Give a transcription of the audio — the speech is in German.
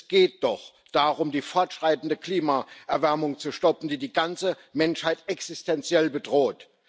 Es geht doch darum, die fortschreitende Klimaerwärmung zu stoppen, die die ganze Menschheit existenziell bedroht.